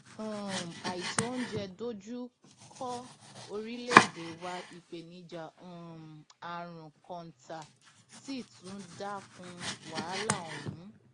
um àìtó oúnjẹ dojú kọ orílẹèdè wa ìpèníjà um àrùn kọńtà sì tún dá kún wàhálà ọhún